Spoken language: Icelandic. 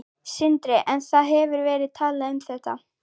Sindri: En það hefur verið talað um þetta?